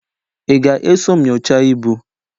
Ị ga-eso m nyochaa ibu?